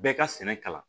Bɛɛ ka sɛnɛ kalan